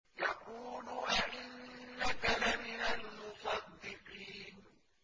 يَقُولُ أَإِنَّكَ لَمِنَ الْمُصَدِّقِينَ